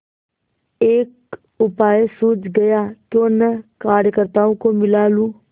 एक उपाय सूझ गयाक्यों न कार्यकर्त्ताओं को मिला लूँ